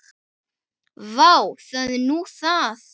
Vá, það er nú það.